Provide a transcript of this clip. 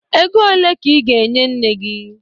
Ego ole ka ị ga-enye nne gị.